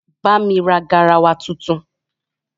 bá mí rà garawa títún